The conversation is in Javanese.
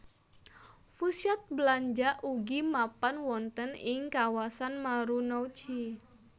Pusat belanja ugi mapan wonten ing kawasan Marunouchi